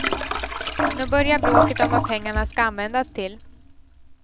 Nu börjar bråket om vad pengarna ska användas till.